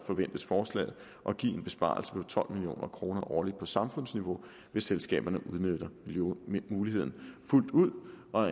forventes forslaget at give en besparelse på tolv million kroner årligt på samfundsniveau hvis selskaberne udnytter muligheden fuldt ud og